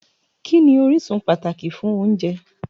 Kí ni orísun pàtàkì fún oúnjẹ?